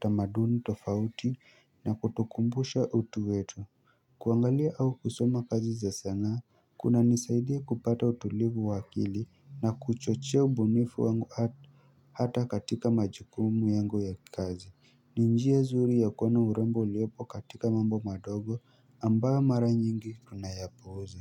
tamaduni tofauti na kutukumbusha utu wetu kuangalia au kusoma kazi za sanaa kunanisaidia kupata utulivu wa akili na kuchochea ubunifu wangu hata katika majukumu yangu ya kikazi ni njia nzuri ya kuona urembo uliopo katika mambo madogo ambayo mara nyingi tunayapuuza.